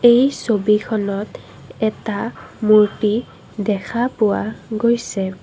এই ছবিখনত এটা মূৰ্ত্তি দেখা পোৱা গৈছে।